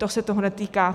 To se toho netýká.